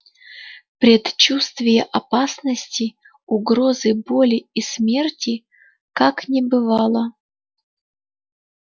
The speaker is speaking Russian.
предчувствия опасности угрозы боли и смерти как не бывало